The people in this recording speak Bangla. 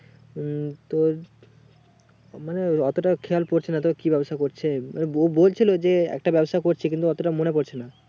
উম তোর মানে অতটাও খেয়াল পড়ছে না তাও কি ব্যবসা করছে বৌ বলছিল যে একটা ব্যবসা করছে কিন্তু অতটা মনে পড়ছে না